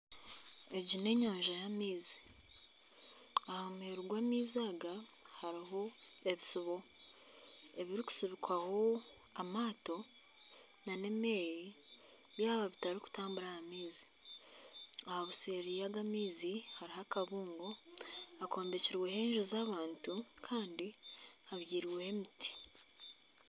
Egi n'enyanja y'amaizi aha muheru gw'amaizi aga hariho ebisubo ebirikusubikwaho amaato nana emeeri byaba bitarikutambura aha maizi, aha buseeri bw'aga amaizi hariho akabuungo akombekireho enju z'abantu Kandi habyairweho ebiti